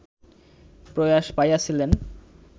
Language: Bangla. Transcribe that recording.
প্রয়াস পাইয়াছিলেন